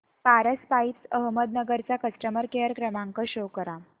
Paras pipes Ahmednagar चा customer care क्रमांक show करा